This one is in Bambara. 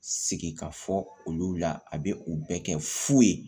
Sigi ka fɔ olu la a bɛ u bɛɛ kɛ fu ye